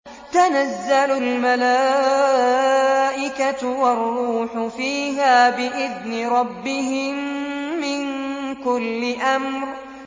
تَنَزَّلُ الْمَلَائِكَةُ وَالرُّوحُ فِيهَا بِإِذْنِ رَبِّهِم مِّن كُلِّ أَمْرٍ